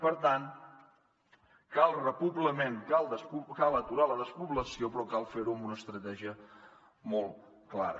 per tant cal repoblament cal aturar la despoblació però cal fer ho amb una estratègia molt clara